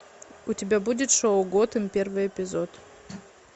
у тебя будет шоу готэм первый эпизод